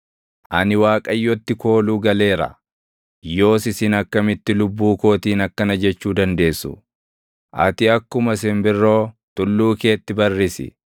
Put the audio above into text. Ani Waaqayyotti kooluu galeera. Yoos isin akkamitti lubbuu kootiin akkana jechuu dandeessu: “Ati akkuma simbirroo tulluu keetti barrisi.